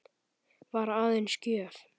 Var aðeins gjöf.